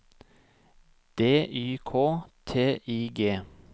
D Y K T I G